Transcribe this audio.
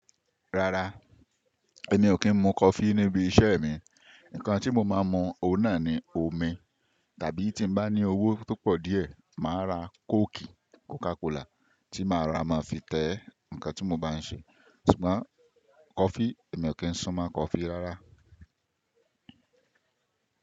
Rárá, èmi ò kí ń mu coffee níbi iṣẹ́ mi. Nǹkan tí mo máa ń mu òun náà ni omi, tàbí tí bá ní owó tó pọ̀ díẹ̀, màá ra coke, Coca Cola tí màá ra máa fi tẹ ǹkan tí mo bá ń ṣe. Ṣùgbọ́n coffee, èmi ò kí ń sún mọ́ coffee rárá.